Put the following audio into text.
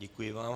Děkuji vám.